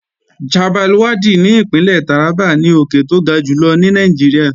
Chabbal Waddi ní Ìpínlẹ̀ Tàrábà ni òkè tó ga jùlọ ní Nàìjíríà